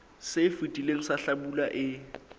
se fetileng sa hlabula e